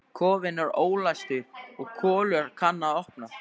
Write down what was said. Kofinn er ólæstur og Kolur kann að opna.